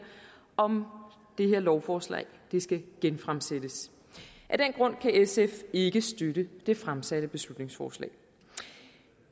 om det her lovforslag skal genfremsættes af den grund kan sf ikke støtte det fremsatte beslutningsforslag